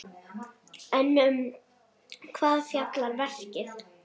En um hvað fjallar verkið?